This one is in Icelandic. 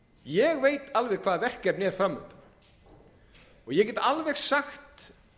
ég veit alveg hvaða verkefni er fram undan og ég get alveg sagt